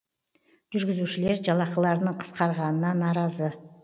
жүргізушілер жалақыларының қысқарғанына наразы